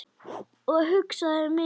Og hugsaði mikið.